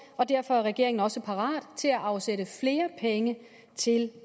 og derfor er regeringen også parat til at afsætte flere penge til